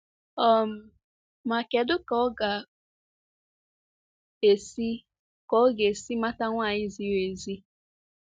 um Ma kedụ ka ọ ga-esi ka ọ ga-esi mata nwanyị ziri ezi.